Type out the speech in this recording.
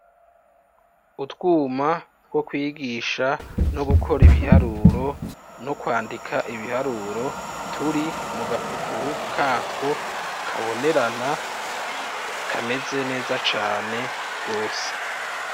Utwuma two kwigisha ,nogukora ibiharuro, no kwandika ibiharuro ,turi mugapukuri, katwo kabonerana ,kameze neza cane gose.